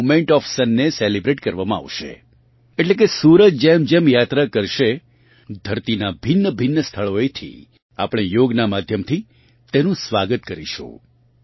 તેમાં movement of સનને celebrate કરવામાં આવશે એટલે કે સૂરજ જેમજેમ યાત્રા કરશે ધરતીનાં ભિન્નભિન્ન સ્થળોએથી આપણે યોગનાં માધ્યમથી તેનું સ્વાગત કરીશું